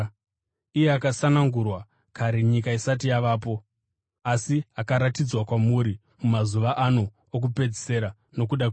Akasanangurwa kare nyika isati yavapo, asi akaratidzwa kwamuri mumazuva ano okupedzisira nokuda kwenyu.